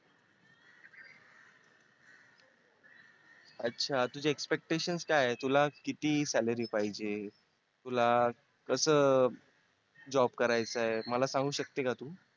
अच्छा तुझे expectation काय आहे तुला किती salary पाहिजे तुला कसं job करायचंय मला सांगू शकते का तू?